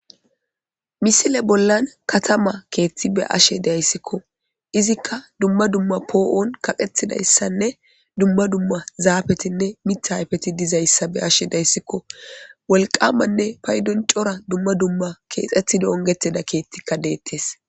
Misile bollan katama keththi be'ashe de'ayssikko. Izikka dumma dumma po'on kaqettidayssanne dumma dumma zafettinne miita ayfetti dizayssa be'ashe de'ayssikko . Wolqqamanne payddon coora dumma dumma kexxetidda ongettida keththikka dettes.